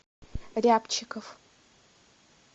рябчиков